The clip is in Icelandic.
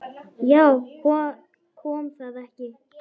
Já, kom það ekki!